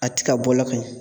A ti ka bɔ la ka ɲɛ